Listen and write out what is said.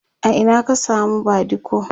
a Ina ka samu badiko?